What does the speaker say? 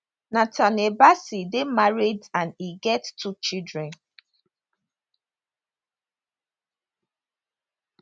nathanial bassey dey married and e get two children